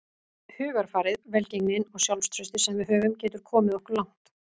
Hugarfarið, velgengnin og sjálfstraustið sem við höfum getur komið okkur langt.